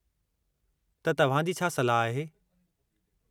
त, तव्हां जी छा सलाह आहे?